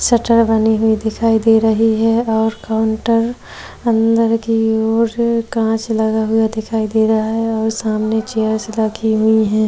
Shutter बनी हुई दिखाई दे रही है और काउंटर अंदर की ओर कांच लगा हुआ दिखाई दे रहा है और सामने की और चेयर्स रखी हुई है।